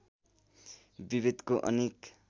विभेदको अनेक